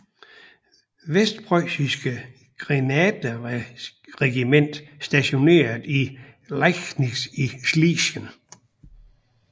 Vestprøjsiske Grenaderregiment stationeret i Liegnitz i Schlesien